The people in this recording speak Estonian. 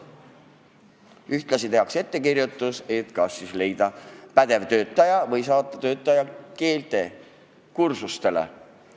Ühtlasi tehakse ettekirjutus kas leida uus pädev töötaja või saata töötaja keelekursustele.